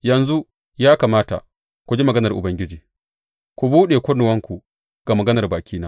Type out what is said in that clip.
Yanzu, ya mata, ku ji maganar Ubangiji; ku buɗe kunnuwanku ga maganar bakina.